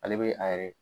Ale be a yɛrɛ